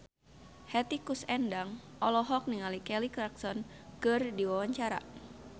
Hetty Koes Endang olohok ningali Kelly Clarkson keur diwawancara